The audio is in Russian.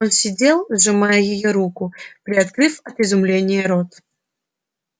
он сидел сжимая её руку приоткрыв от изумления рот